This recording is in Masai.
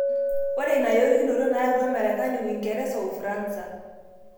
Ore ina yorikinoto nayautwa Marekani, Uingereza o Ufaransa.